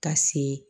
Ka se